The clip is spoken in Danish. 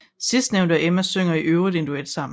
Sidstnævnte og Emma synger i øvrigt en duet sammen